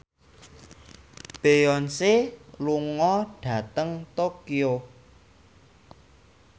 Beyonce lunga dhateng Tokyo